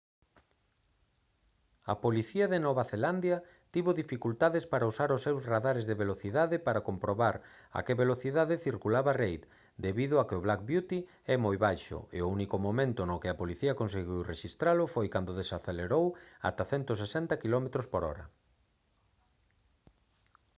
a policía de nova zelandia tivo dificultades para usar os seus radares de velocidade para comprobar a que velocidade circulaba reid debido a que o black beauty é moi baixo e o único momento no que a policía conseguiu rexistralo foi cando desacelerou ata 160 km/h